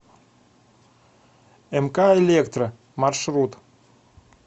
мк электро маршрут